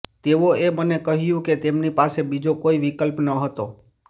તેઓએ મને કહ્યું કે તેમની પાસે બીજો કોઈ વિકલ્પ ન હતો